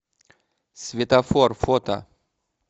светофор фото